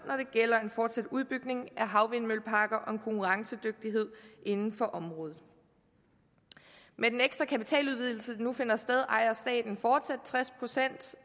gælder en fortsat udbygning af havvindmølleparker og en konkurrencedygtighed inden for området med den ekstra kapitaludvidelse der nu finder sted ejer staten fortsat tres procent